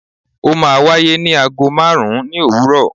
o ma wàyé ni àgó marún ni owúrò